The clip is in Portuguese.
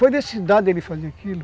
fazer aquilo?